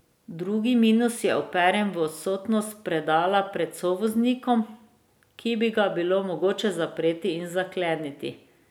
Drugi minus je uperjen v odsotnost predala pred sovoznikom, ki bi ga bilo mogoče zapreti in zakleniti.